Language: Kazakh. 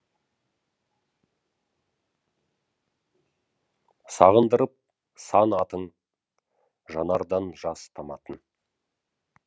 сағындырып сан атың жанардан жас таматын